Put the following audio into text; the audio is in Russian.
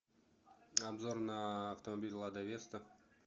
обзор на автомобиль лада веста